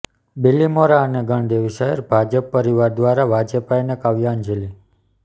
બીલીમોરા અને ગણદેવી શહેર ભાજપા પરિવાર દ્વારા વાજપેયીને કાવ્યાંજલિ